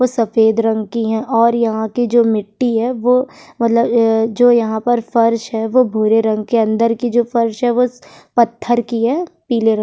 वो सफेद रंग की हैं और यहाँ की जो मिट्टी है वो मतलब ए जो यहाँ पर फर्श है वो भूरे रंग के अंदर की जो फर्श है वो स पत्थर की है पीले रंग --